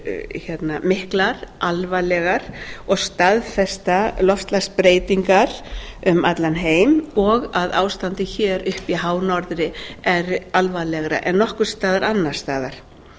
eru miklar alvarlegar og staðfesta loftslagsbreytingar um allan heim og að ástandið hér uppi í hánorðri er alvarlegra en nokkurs staðar annars staðar